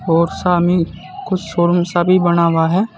और सामने कुछ शोरूम सा भी बना हुआ है।